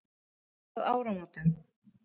Það leið að áramótum.